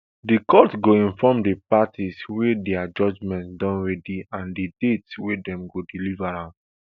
di court go inform di parties wen dia judgement don ready and di date wey dem go deliver am